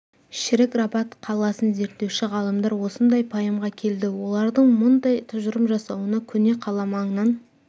шірік рабат қаласын зерттеуші ғалымдар осындай пайымға келді олардың мұндай тұжырым жасауына көне қала маңынан